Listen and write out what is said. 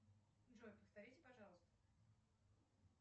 джой повторите пожалуйста